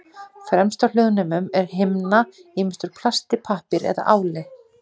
Fremst á hljóðnemum er himna, ýmist úr plasti, pappír eða áli.